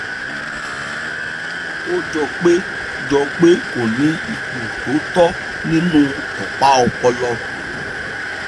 ó jọ pé jọ pé kò ní ipò tó tọ́ nínú opa ọpọlọ